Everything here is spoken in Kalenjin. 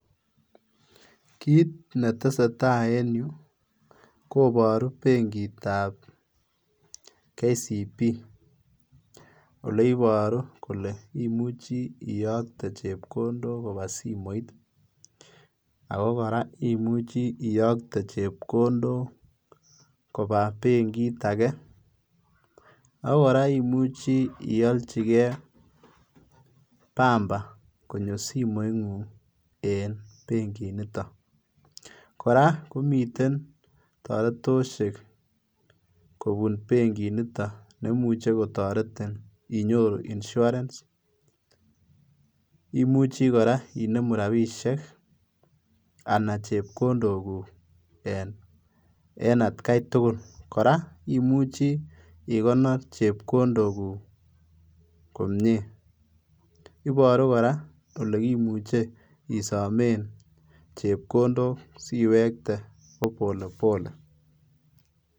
Kiit netesetai en yu koboru benkitab KCB ole iboru kole imuche iyokte chepkondok kobaa simoit ako koraa imuchi iyokte chepkondok kobaa benkit agee, ak koraa imuchi iyolchi gee bamba konyo simoingung en benkiniton, koraa komiten toretosiek kobun benkiniton nemuche kotoretin inyoru Insurance, imuchi koraa inemu rabisiek anan chepkondokuk en atkaitugul, koraa imuchi ikonor chepkondokuk komie, iboru koraa ole kimuche kesomen chepkondok siwektee ko pole pole.